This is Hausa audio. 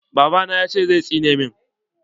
Babana yace zai tsine min.